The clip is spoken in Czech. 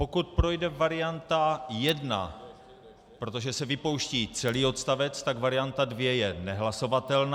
Pokud projde varianta 1, protože se vypouští celý odstavec, tak varianta 2 je nehlasovatelná.